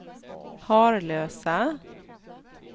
Harlösa